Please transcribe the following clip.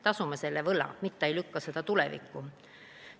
Tasume siis selle võla, mitte ei lükka seda tulevikku!